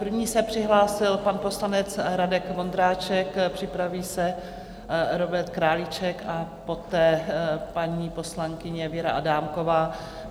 První se přihlásil pan poslanec Radek Vondráček, připraví se Robert Králíček a poté paní poslankyně Věra Adámková.